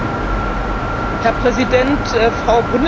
Herr Präsident, Frau Bundeskanzlerin!